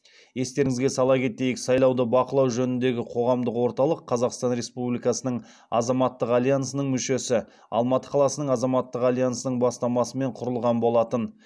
естеріңізге сала кетейік сайлауды бақылау жөніндегі қоғамдық орталық қазақстан республикасының азаматтық альянсының мүшесі алматы қаласының азаматтық альянсының бастамасымен құрылған болатын